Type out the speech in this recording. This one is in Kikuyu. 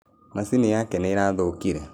Macini yake nĩ ĩrathũkire.